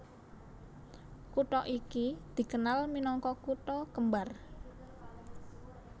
Kutha iki dikenal minangka Kutha kembar